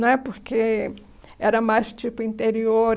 Não é porque era mais tipo interior.